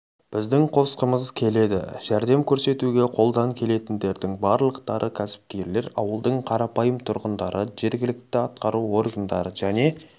біздің қосқымыз келеді жәрдем көрсетуге қолдан келетіндердің барлықтары кәсіпкерлер ауылдың қарапайым тұрғындары жергілікті атқару органдары және